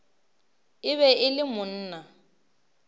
e be e le monna